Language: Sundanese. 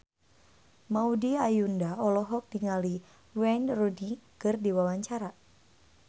Maudy Ayunda olohok ningali Wayne Rooney keur diwawancara